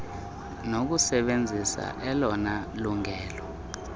nokusebenzisa elona lungelo